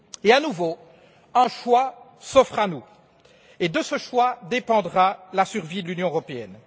À nouveau, un choix s'offre à nous, et de ce choix dépendra la survie de l'Union européenne.